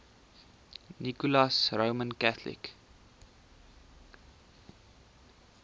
nicholas roman catholic